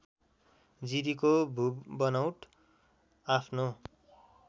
जिरीको भूबनौट आफ्नो